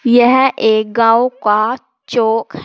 यह एक गांव का चौक--